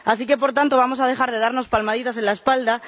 Así que, por tanto, vamos a dejar de darnos palmaditas en la espalda.